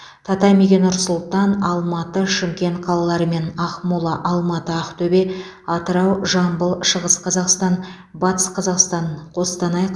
татамиге нұр сұлтан алматы шымкент қалалары мен ақмола алматы ақтөбе атырау жамбыл шығыс қазақстан батыс қазақстан қостанай